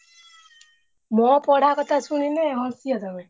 ମୋ ପଢା କଥା ଶୁଣିଲେ ହସିବ ତମେ।